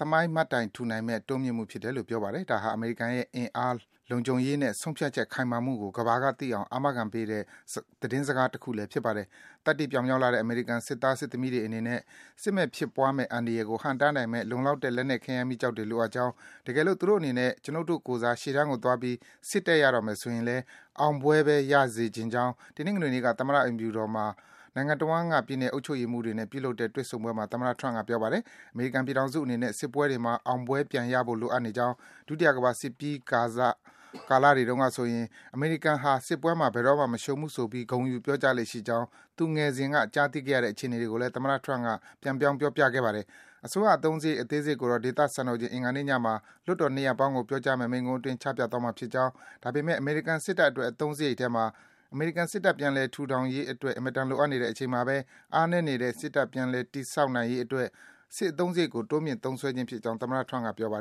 သမိုင်းမှတ်တိုင်ထူနိုင်မယ့် တိုးမြင့်မှုဖြစ်တယ်လို့ ပြောပါတယ်။ ဒါဟာ အမေရိကန်ရဲ့ အင်အား၊ လုံခြုံရေးနဲ့ ဆုံးဖြတ်ချက် ခိုင်မာမှုကို ကမ္ဘာကသိအောင် အာမခံပေးတဲ့ သတင်းစကားတခုလည်း ဖြစ်ပါတယ်။ သတ္တိပြောင်မြောက်လှတဲ့ အမေရိကန် စစ်သား၊ စစ်သမီးတွေ အနေနဲ့ စစ်မက် ဖြစ်ပွားမယ့် အန္တရာယ်ကို ဟန့်တားနိုင်မယ့် လုံလောက်တဲ့ လက်နက် ခဲယမ်း မီးကျောက်တွေ လိုအပ်ကြောင်း၊ တကယ်လို့ သူတို့အနေနဲ့ ကျွနု်ပ်တို့ကိုယ်စား ရှေ့တန်းကိုသွားပြီး စစ်တိုက်ရတော့မယ် ဆိုရင်လည်း အောင်ပွဲပဲ ရရှိစေချင်ကြောင်း တနင်္ဂနွေနေ့က သမ္မတအိမ်ဖြူတော်မှာ နိုင်ငံတဝှမ်းက ပြည်နယ် အုပ်ချုပ်ရေးမှူးတွေနဲ့ ပြုလုပ်တဲ့ တွေ့ဆုံပွဲမှာ သမ္မတ Trump က ပြောပါတယ်။ အမေရိကန်ပြည်ထောင်စုအနေနဲ့ စစ်ပွဲတွေမှာ အောင်ပွဲ ပြန်ရဖို့ လုပ်အပ်နေကြောင်း၊ ဒုတိယကမ္ဘာစစ်ပြီးကာစ ကာလတွေတုန်းကဆိုရင် အမေရိကန်ဟာ စစ်ပွဲမှာ ဘယ်တော့မှ မရှုံးဘူးဆိုပြီး ဂုဏ်ယူ ပြောကြားလေ့ရှိကြောင်း သူငယ်စဉ်က ကြားသိခဲ့ရတဲ့ အခြေအနေတွေကိုလည်း သမ္မတ Trump က ပြန် ပြောပြခဲ့ပါတယ်။ အစိုးရ အသုံးစားရိတ် အသေးစိတ်ကိုတော့ ဒေသစံတော်ချိန် အင်္ဂါနေ့ညမှာ လွှတ်တော် နှစ်ရပ်ပေါင်းကို ပြောကြားမယ့် မိန့်ခွန်းအတွင်း ချပြသွားမှာဖြစ်ကြောင်း၊ ဒါပေမယ့် အမေရိကန် စစ်တပ်အတွက် အသုံးစားရိတ်ထဲမှာ အမေရိကန်စစ်တပ် ပြန်လည် ထူထောင်ရေးအတွက် အင်မတန် လိုအပ်နေတဲ့ အချိန်မှာ အားနည်းနေတဲ့ စစ်တပ် ပြန်လည် တည်ဆောက်ရေးအတွက် စစ်အသုံးစရိတ် တိုးမြင့် သုံးစွဲခြင်း ဖြစ်ကြောင်း သမ္မတ Trump က ပြောပါတယ်